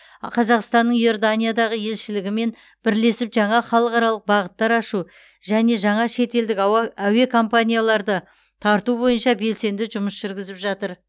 қазақстанның иорданиядағы елшілігімен бірлесіп жаңа халықаралық бағыттар ашу және жаңа шетелдік ауа әуе компанияларды тарту бойынша белсенді жұмыс жүргізіп жатыр